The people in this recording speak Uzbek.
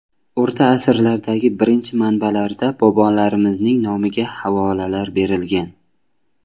O‘rta asrlardagi birinchi manbalarda bobolarimizning nomiga havolalar berilgan.